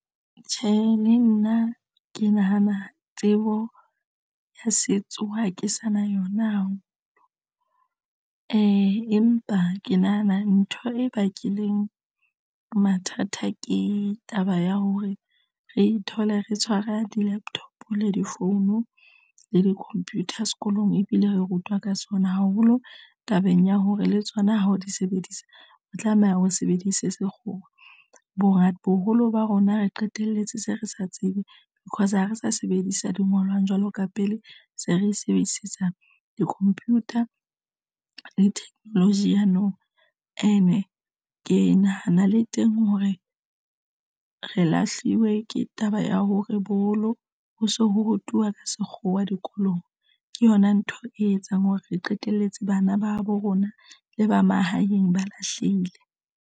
Tjhe, le nna ke nahana tsebo ya setso ha ke sa na yona, empa ke nahana ntho e bakileng mathata ke taba ya hore re ithole re tshwara di-laptop le difounu le di computer sekolong ebile re rutwa ka tsona haholo tabeng ya hore le tsona ha o di sebedisa. Re tlameha hore re sebedise sekgowa bongata. Boholo ba rona re qetelletse se re sa tsebe because ha re sa sebedisa di ngolwang jwalo ka pele se re sebedisetsa di-computer le technology ya nou and ke nahana le teng hore re lahliwe ke taba ya hore bolo ho se ho rutuwa ka sekgowa dikolong ke yona ntho e etsang hore re qetelletse bana ba habo rona le ba mahaeng ba lahlehile.